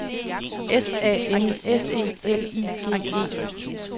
S A N S E L I G E